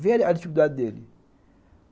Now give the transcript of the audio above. Veja a dificuldade dele.